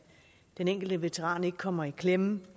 den enkelte veteran ikke kommer i klemme